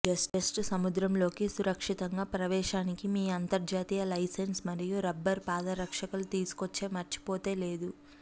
just సముద్ర లోకి సురక్షితంగా ప్రవేశానికి మీ అంతర్జాతీయ లైసెన్స్ మరియు రబ్బరు పాదరక్షల తీసుకొచ్చే మర్చిపోతే లేదు